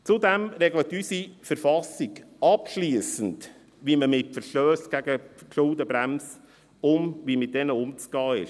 Zudem regelt unsere Verfassungabschliessend, wie mit Verstössen gegen die Schuldenbremse umzugehen ist.